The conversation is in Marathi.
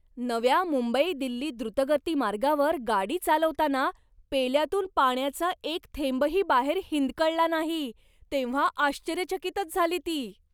नव्या मुंबई दिल्ली द्रुतगती मार्गावर गाडी चालवताना पेल्यातून पाण्याचा एक थेंबही बाहेर हिंदकळला नाही तेव्हा आश्चर्यचकितच झाली ती.